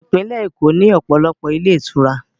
Ìpínlẹ̀ Èkó ní ọ̀pọ̀lọpọ̀ ilé ìtura